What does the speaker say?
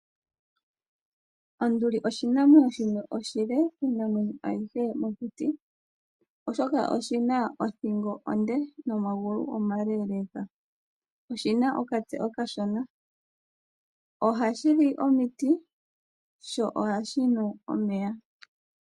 Onduli oshinamwenyo shimwe oshile kiinamwenyo ayihe mokuti, oshoka oshi na othingo onde nomagulu omaleeleeka. Oshi na okatse okashona. Ohashi li omiti sho ohashi nu omeya.